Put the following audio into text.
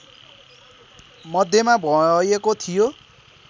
मध्यमा भएको थियो